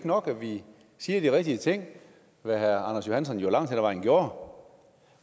nok at vi siger de rigtige ting hvad herre anders johansson langt hen ad vejen gjorde